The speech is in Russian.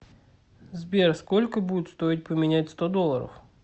сбер сколько будет стоить поменять сто долларов